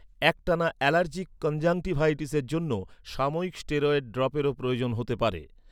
একটানা অ্যালার্জিক কনজাংক্টিভাইটিসের জন্য সাময়িক স্টেরয়েড ড্রপেরও প্রয়োজন হতে পারে।